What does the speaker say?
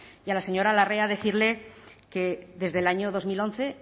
y a la señora larrea decirle que desde el año dos mil once